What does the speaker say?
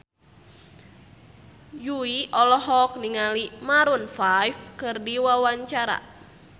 Jui olohok ningali Maroon 5 keur diwawancara